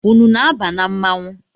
Unu na-aba na mmanwụ?